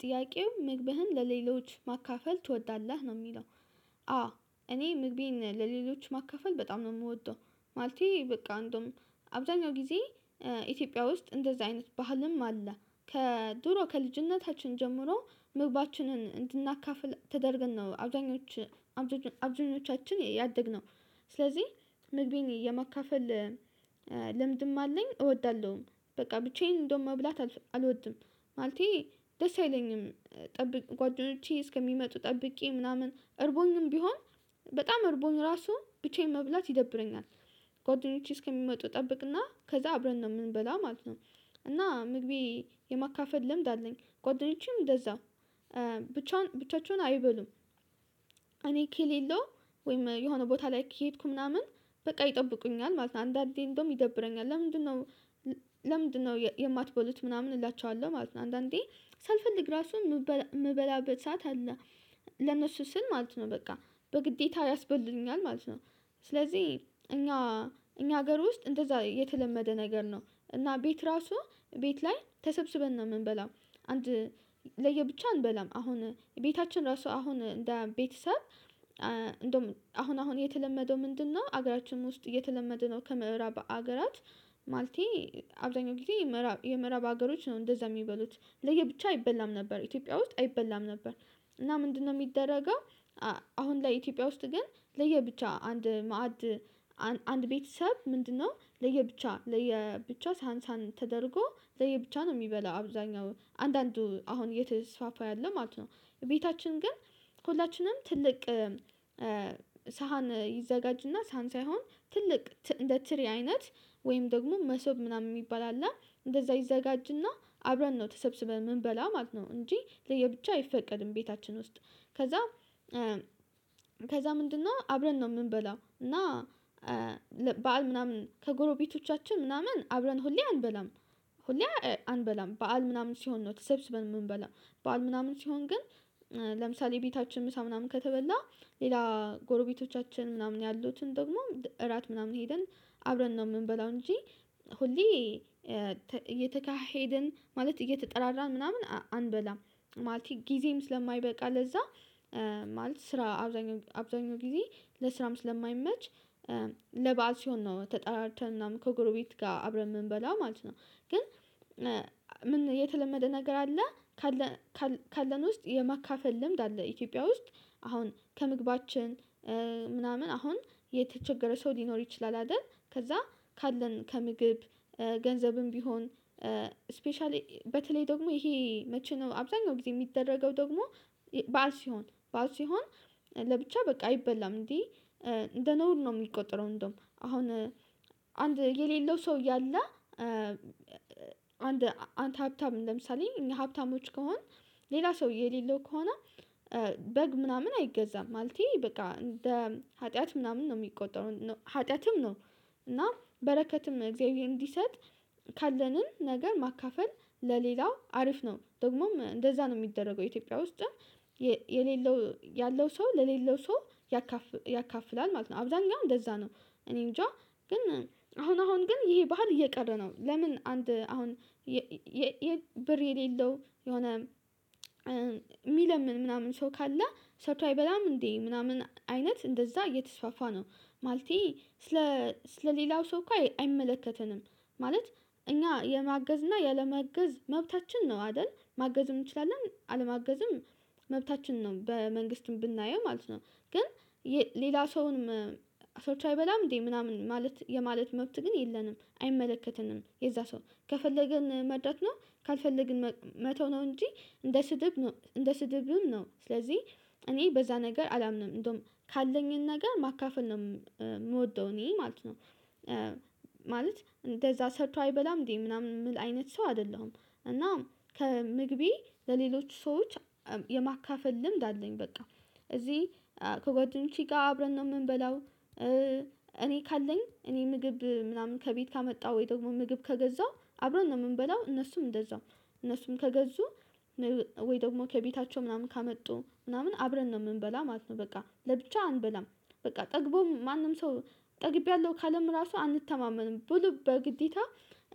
ጥያቄው መግብህን ለሌሎች ማካፈል ትወዳለህ ነው የሚለው? አዎ እኔ ምግቤን ለሌሎች ማካፈል በጣም ነው ምወደው። ማለቴ በቃ እንደውም አብዛኛው ጊዜ ኢትዮጵያ ውስጥ እንደዚህ አይነት ባህልም አለ። ከድሮ ከልጅነታችን ጀምሮ ምግባችንን እንድናካፍል ተደርገን ነው አብዛኞቹ አብዛኞቻችን ያደግነው። ስለዚህ መግቤን የማካፈል ልምድም አለኝ እወዳለውም በቃ ብቻዬን እንደውም መብላት አልወድም ማለቴ ደስ አይለኝም። ጓደኞቼ እስከሚመጡ ጠብቄ ምናምን እርቦኝም ቢሆን በጣም አርቦኝ ራሱ ብቻዬን መብላት ይደብረኛል። ጓደኞቼ እስከሚመጡ እጠብቅና ከዛ አብረን ነው ምንበላ ማለት ነው። እና ምግቤን የማካፈል ልምድ አለኝ ጓደኞቼም እንደዛው ብቻ ብቻቸውን አይበሉም። እኔ ከሌለው ወይም የሆነ ቦታ ላይ ከሄድኩ ምናምን በቃ ይጠብቁኛል ማለት ነው። አንዳንዴ እንደውም ይደብረኛል ለምንድ ነው? ለምንድ ነው የማትበሉት ምናምን እላችኋለሁ ማለት ነው። አንዳንዴ ሳልፈልግ ራሱ የምበላበት ሰዓት አለ ለእነሱ ስል ማለት ነው በቃ በግዴታ ያስበሉኛል ማለት ነው። ስለዚህ እኛ እኛ ሀገር ውስጥ እንደዛ የተለመደ ነገር ነው እና ቤት ራሱ ቤት ላይ ተሰብስበን ነው የምንበላው። አንድ ለየብቻ አንበላም አሁን ቤታችን ራሱ አሁን እንደ ቤተሰብ እንደውም አሁን አሁን የተለመደው ምንድ ነው ሀገራችን ውስጥ እየተለመደ ነው። ከምዕራብ ሀገራት ማለቴ አብዛኛው ጊዜ የምዕራብ ሀገሮች ነው እንደዛ የሚበሉት ለየብቻ አይበላም ነበር ኢትዮጵያ ውስጥ አይበላም ነበር። እና ምንድነው የሚደረገው? አሁን ላይ ኢትዮጵያ ውስጥ ግን ለየብቻ አንድ ማዕድ አንድ ቤተሰብ ምንድ ነው ለየብቻ ሳህን ሳህን ተደርጎ ለየብቻ ነው ሚበላው አብዛኛው አንዳንዱ አሁን እየተስፋፋ ያለው ማለት ነው። ቤታችን ግን ሁላችንም ትልቅ ሳህን ይዘጋጅና ሳን ሳይሆን ትልቅ እንደ ትሪ አይነት ወይም ደግሞ መሶብ ምናምን የሚባል አለ እንደዛ ይዘጋጅና አብረን ነው ተሰብስበን የምንበላ ማለት ነው እንጂ ለየብቻ አይፈቀድም። ቤታችን ውስጥ ከዛ ከዛ ምንድነው አብረን ነው ምንበላው እና በዓል ምናምን ከጎረቤቶቻችን ምናምን አብረን ሁሌ አንበላም። ሁሌ አንበላም በዓል ምናምን ሲሆን ነው ተሰብስበን የምንበላም። በዓል ምናምን ሲሆን ግን ለምሳሌ ቤታችን ምሳ ምናምን ከተበላ ሌላ ጎረቤቶቻችን ምናምን ያሉትን ደግሞ እራት ምናምን ሄደን አብረን ነው የምንበላው እንጂ ሁሌ እየተካሄድን ማለት እየተጠራራን ምናምን አንበላም። ማለት ጊዜም ስለማይበቃ ለዛ ማለት ስራ አብዛኛው ጊዜ ለስራም ስለማይመች ለበአል ሲሆን ነው ተጠራርተን ምናምን ከጎረቤት ጋር አብረን የምንበላው ማለት ነው። ግን ምን የተለመደ ነገር አለ? ካለን ውስጥ የማካፈል ልምድ አለ ኢትዮጵያ ውስጥ አሁን ከምግባችን ምናምን አሁን የተቸገረ ሰው ሊኖር ይችላል። አይደል ከዛ ካለን ከምግብ ገንዘብም ቢሆን ስፔሻሊ በተለይ ደግሞ ይሄ መቼ ነው? አብዛኛው ጊዜ የሚደረገው ደግሞ በዓል ሲሆን ባዓል ሲሆን ለብቻ በቃ አይበላም እንዴ እንደ ነውር ነው የሚቆጠረው። እንደውም አሁን አንድ የሌለው ሰው ያለ አንድ አንተ ሀብታም ለምሳሌ እኛ ሀብታሞች ከሆን ሌላ ሰው የሌለው ከሆነ በግ ምናምን አይገዛም ማለቴ በቃ እንደ ኃጢያት ምናምን ነው የሚቆጠረው ኃጢያትም ነው። እና በረከትም እግዚአብሔር እንዲሰጥ ካለንም ነገር ማካፈል ለሌላው አሪፍ ነው ደግሞም እንደዛ ነው ሚደረገው ኢትዮጵያ ውስጥም የሌለው ያለው ሰው ለሌለው ሰው ያካፍላል ማለት ነው። አብዛኛው እንደዛ ነው እኔንጃ ግን አሁን አሁን ግን ይሄ ባህል እየቀረ ነው። ለምን አንድ አሁን ብር የሌለው የሆነ የሚለምን ምናምን ሰው ካለ ሰርቶ አይበላም እንዴ ምናምን አይነት እንደዛ እየተስፋፋ ነው ማለቴ ስለሌላው ሰው እኮ አይመለከተንም። ማለት እኛ የማገዝ እና ያለመገዝ መብታችን ነው አይደል ማገዝም እንችላለን አለማገዝም መብታችን ነው በመንግስትም ብናየው ማለት ነው። ግን ሌላ ሰውን ሰርቶ አይበላም እንዴ ምናምን ማለት የማለት መብት ግን የለንም አይመለከትንም የዛ ሰው ከፈለግን መርዳት ነው ካልፈለግን መተው ነው። እንጂ እንደ ስድብም ነው ስለዚህ እኔ በዛ ነገር አላምንም እንደውም ካለኝ ነገር ማካፈል ነው። ምወደው እኔ ማለት ነው ማለት እንደዛ ሰርቶ አይበላም እንዴ ምናምን የምል አይነት ሰው አይደለሁም። እና ከምግቤ ለሌሎች ሰዎች የማካፈል ልምድ አለኝ በቃ እዚህ ከጓደኞቼ ጋር አብረን ነው የምንበላው። እኔ ካለኝ እኔ ምግብ ምናምን ከቤት ካመጣው ወይ ደግሞ ምግብ ከገዛው አብረን ነው የምንበላው እነሱም እንደዛው እነሱም ከገዙ ወይ ደግሞ ከቤታቸው ምናምን ካመጡ ምናምን አብረን ነው የምንበላ ማለት ነው በቃ ለብቻ አንበላም። በቃ ጠግቦ ማንም ሰው ጠግቢያለሁ ካለም ራሱ አንተማመንም ብሉ በግዴታ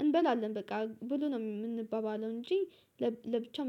እንበላለን በቃ ብሉ ነው ምንባባለው እንጂ ለብቻው